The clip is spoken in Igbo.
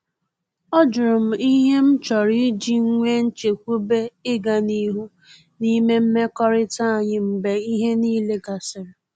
Ọ jụrụ m ihe m chọrọ iji nwee nchekwube ịga n’ihu n’ime mmekọrịta anyị mgbe ihe niile gasịrị